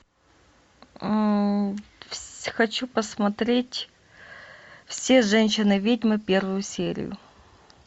хочу посмотреть все женщины ведьмы первую серию